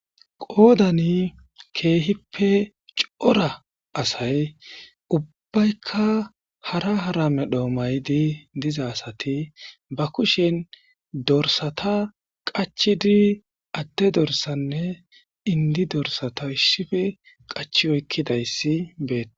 qoodani keehippe cora asay ubbaykka hara hara medho maydi diza asati ba kushen dorsata qachidi adde dorsanne indi dorsata ishshife qachi oykkidayssi betees